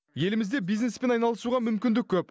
елімізде бизнеспен айналысуға мүмкіндік көп